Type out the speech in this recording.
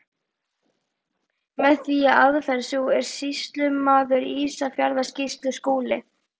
Með því að aðferð sú, er sýslumaður í Ísafjarðarsýslu Skúli